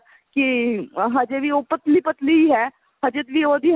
ਕੀ ਹਜੇ ਵੀ ਉਹ ਪਤਲੀ ਪਤਲੀ ਹੈ ਹਜੇ ਵੀ ਉਹਦੀ